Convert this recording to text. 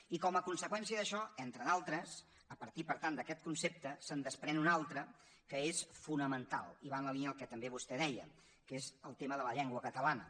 i com a conseqüència d’això entre d’altres a partir per tant d’aquest concepte se’n desprèn un altre que és fonamental i va en la línia del que també vostè deia que és el tema de la llengua catalana